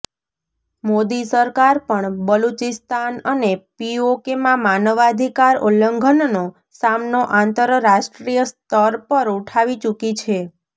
મોદી સરકાર પણ બલૂચિસ્તાન અને પીઓકેમાં માનવાધિકાર ઉલ્લંઘનનો મામલો આંતરાષ્ટ્રીય સ્તર પર ઉઠાવી ચૂકી છે